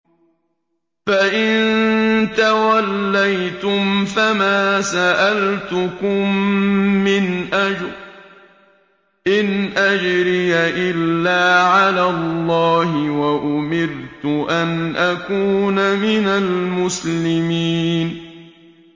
فَإِن تَوَلَّيْتُمْ فَمَا سَأَلْتُكُم مِّنْ أَجْرٍ ۖ إِنْ أَجْرِيَ إِلَّا عَلَى اللَّهِ ۖ وَأُمِرْتُ أَنْ أَكُونَ مِنَ الْمُسْلِمِينَ